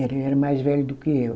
Ele era mais velho do que eu.